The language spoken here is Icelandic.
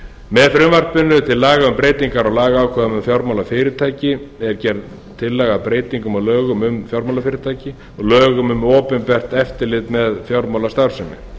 með frumvarpinu til laga um breytingar á lagaákvæðum um fjármálafyrirtæki er gerð tillaga að breytingum á lögum um fjármálafyrirtæki og lögum um opinbert eftirlit með fjármálastarfsemi